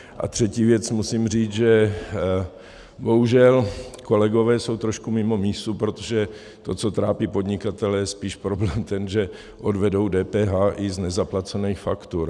A třetí věc, musím říct, že bohužel kolegové jsou trošku mimo mísu, protože to, co trápí podnikatele, je spíš problém ten, že odvedou DPH i z nezaplacených faktur.